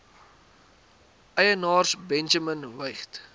eienaars benjamin weigt